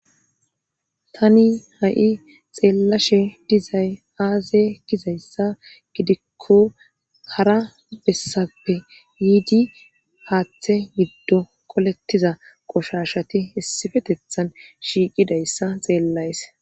Tani ha,i xeellashe dizay aaze gizayssa gidikko kara bessappe yiidi haaththe giddo kolettiza qoshashati essifetethan shiiqidayssa xeellays